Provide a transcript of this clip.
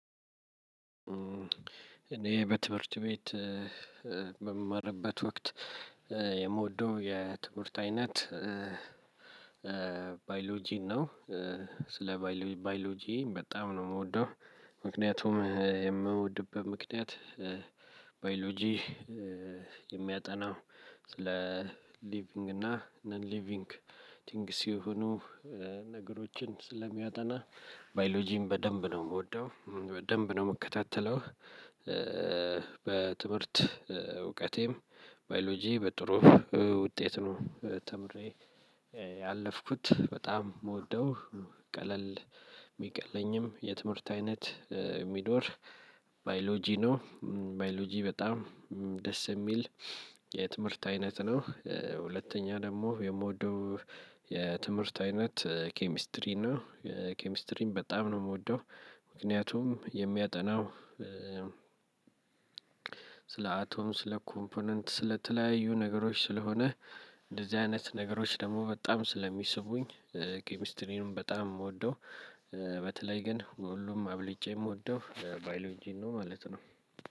እኔ በትምህርት ቤት በምማርበት ወቅት የምወደው የትምርት አይነት ባዮሎጂን ነው። ስለ ባዮሎጂን በጣም ነው የምወደው ምክንያቱም የምወድብህ ምክንያት ባዮሎጂ የሚያጠናው ስለ ሊቪንግ እና ነን ሊቪንግ ቲንግስ የሆኑ የሆኑ ነገሮችን ስለሚያጠና ባዮሎጂን በደንብ ነው የምወደው በደንብ ነው የምከታተለው። በትምህርት እውቀቴም ባዮሎጂ በጥሩ ውጤት ነው ተምሬ ያለፍኩት በጣም የምወደው ቀለል የሚቀለኝም የትምህርት አይነት የሚኖር ባዮሎጂ ነው። ባዮሎጂ በጣም ደስ የሚል የትምህርት አይነት ነው። ሁለተኛ ደግሞ የምወደው የትምህርት አይነት ኬሚስትሪ ነው የኬሚስትሪም በጣም ነው የምወደው። ምክንያቱም የሚያጠናው ስለ አቶም ስለ ኮምፖነንት ስለተለያዩ ነገሮች ስለሆነ እንደዚህ አይነት ነገሮች ደግሞ በጣም ስለሚስቡኝ ኬሚስትሪንም በጣም የምወደው። በተለይ ግን ሁሉም አብልጬ የምወደው ባይሎን ጂን ነው ማለት ነው።